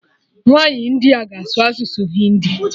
Nwaanyi India ga-asụ asụsụ Hindi